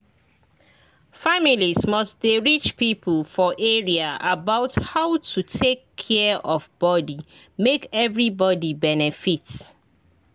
families must dey teach people for area about how to take care of body make everybody benefit.